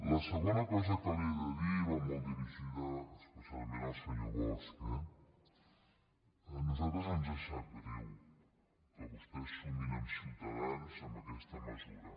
la segona cosa que li he de dir va molt dirigida especialment al senyor bosch eh a nosaltres ens sap greu que vostès sumin amb ciutadans amb aquesta mesura